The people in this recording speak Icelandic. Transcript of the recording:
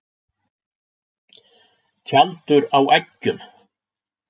Tjaldur á eggjum.